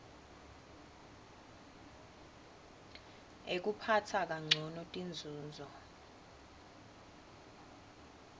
ekuphatsa kancono tinzunzo